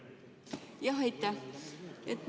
Aitäh!